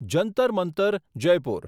Jantar Mantar Jaipur